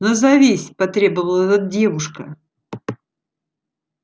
назовись потребовала девушка